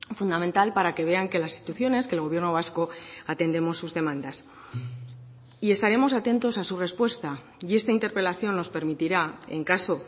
fundamental para que vean que las instituciones que el gobierno vasco atendemos sus demandas y estaremos atentos a su respuesta y esta interpelación nos permitirá en caso